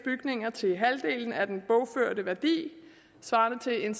bygninger til halvdelen af den bogførte værdi svarende til en